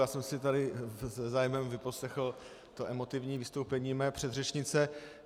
Já jsem si tady se zájmem vyposlechl to emotivní vystoupení své předřečnice.